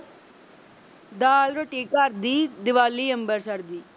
ਦਾਲ-ਰੋਟੀ ਘਰ ਦੀ, ਦੀਵਾਲੀ ਅੰਮ੍ਰਿਤਸਰ ਦੀ।